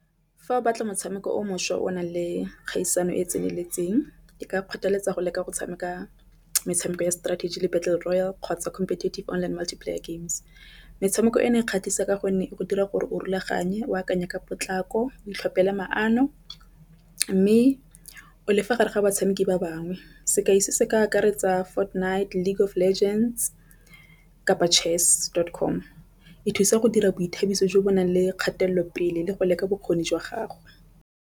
Fa o batla motshameko o mošwa o nang le kgaisano e tseneletseng e ka kgotheletsa go leka go tshameka metshameko ya strategy le battle royale kgotsa competitive online multiplayer games. Metshameko e ne e kgatlhisa ka gonne e go dira gore o rulaganye, o akanya ka potlako, o itlhopela maano, mme o lefa gare ga batshameki ba bangwe. Se ka ise se ka akaretsa Fortnite League of Legends kapa Chess dot com e thusa go dira boithabiso jo bo nang le kgatelelo pele le go leka bokgoni jwa gagwe.